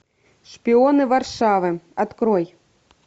шпионы варшавы открой